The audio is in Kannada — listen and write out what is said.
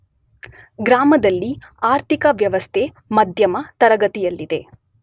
ಗ್ರಾಮದಲ್ಲಿ ಆರ್ಥಿಕ ವ್ಯವಸ್ಥೆ ಮಧ್ಯಮ ತರಗತಿಯಲ್ಲಿದೆ.